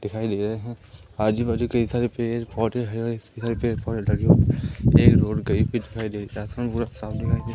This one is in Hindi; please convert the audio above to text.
दिखाई दे रहें है आजू बाजू कई सारे पेर पौधे है इतने सारे पेड़ पौधे लगे हुए एक रोड कही पे --